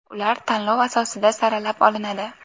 Ular tanlov asosida saralab olinadi.